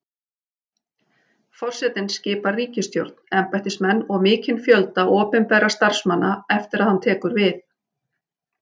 Forsetinn skipar ríkisstjórn, embættismenn og mikinn fjölda opinberra starfsmanna eftir að hann tekur við.